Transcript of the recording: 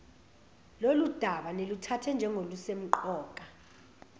lolundaba niluthathe njengolusemqoka